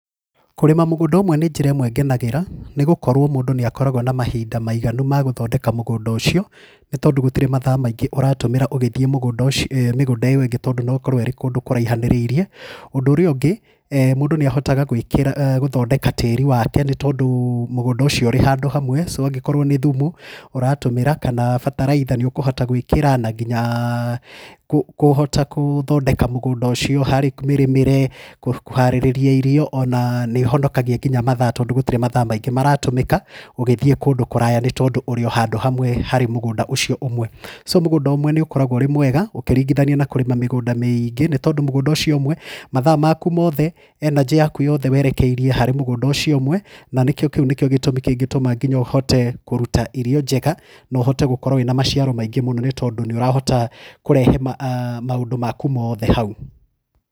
Kũrĩma mũgũnda ũmwe nĩ njĩra ĩmwe ngenagĩra, nĩgũkorwo mũndũ nĩ akoragwo na mahinda maiganu ma gũthondeka mũgũnda ũcio, nĩtondũ gũtirĩ mathaa maingĩ ũratũmĩra ũgĩthiĩ mũgũnda ũcio mĩgũnda ĩyo ĩngĩ tondũ noĩkorwo ĩrĩ kũndũ kũraihanĩrĩirie. Ũndũ ũrĩa ũngĩ, mũndũ nĩahotaga gũĩkĩra [uum] gũthondeka tĩri wake nĩtondũ mũgũnda ũcio ũrĩ handũ hamwe so angĩkorwo nĩ thumu ũratũmĩra kana bataraitha nĩ ũkũhota gwĩkĩra na nginyakũ kũũhota kũthondeka mũgũnda ũcio harĩ mĩrĩmĩre, kũharĩria irio ona nĩhonokagia nginya mathaa tondũ gũtirĩ mathaa maingĩ maratũmĩka ũgĩthiĩ kũndũ kũraya nĩ tondũ ũrĩo handũ hamwe harĩ mũgũnda ũcio ũmwe. So mũgũnda ũmwe nĩ ũkoragwo ũrĩ mwega ũkĩringithania na kũrĩma mĩgũnda mĩingĩ, nĩtondũ mũgũnda ũcio ũmwe mathaa maku mothe, energy yaku yothe werekeirie harĩ mũgũnda ũcio ũmwe, na nĩkĩo kĩu nĩkĩo gĩtũmi kĩngĩtũma nginya ũhote kũruta irio njega na na ũhote gũkorwo wĩna maciaro maingĩ mũno tondũ nĩũrahota kũrehe maũndũ maku mothe hau.